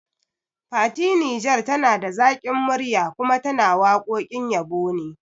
Fati Niger tana da zaƙin murya kuma tana waƙoƙin yabo ne